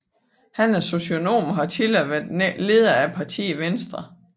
Han er socionom og har tidligere været leder af partiet Venstre